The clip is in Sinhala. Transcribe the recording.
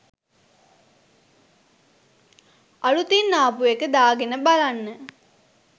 අලුතින් ආපු එක දාගෙන බලන්න